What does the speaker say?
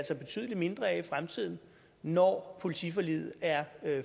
ser betydelig mindre af det i fremtiden når politiforliget er